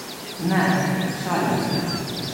Ne, šalim se!